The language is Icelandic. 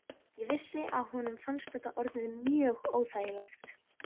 Ég vissi að honum fannst þetta orðið mjög óþægilegt.